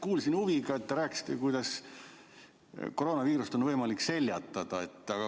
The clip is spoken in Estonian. Kuulasin huviga, kui te rääkisite, kuidas koroonaviirust on võimalik seljatada.